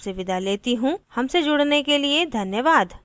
हमसे जुड़ने के लिए धन्यवाद